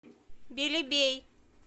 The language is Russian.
белебей